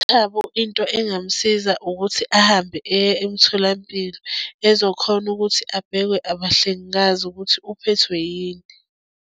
UThabo into engamsiza ukuthi ahambe eye emtholampilo ezokhona ukuthi abhekwe abahlengikazi ukuthi uphethwe yini.